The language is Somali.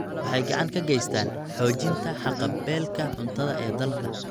Waxay gacan ka geystaan ??xoojinta haqab-beelka cuntada ee dalka.